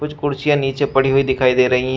कुछ कुर्सियां नीचे पड़ी हुई दिखाई दे रही है।